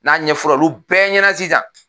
N'a ɲɛfɔra olu bɛɛ ɲɛna sisan